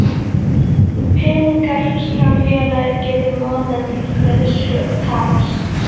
peningar sem félagið getur notað til greiðslu taps.